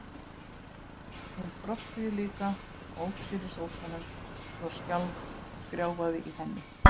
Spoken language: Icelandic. Hún brosti líka og ók sér í sófanum svo að skrjáfaði í henni.